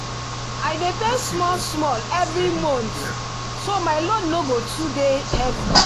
i dey pay small small every month so my loan no go too dey heavy